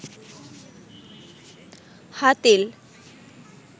Hatil